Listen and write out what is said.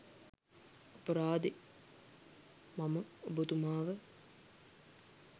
අපරාදේ මම ඔබතුමාව